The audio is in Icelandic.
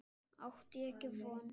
Átti ég ekki á því von.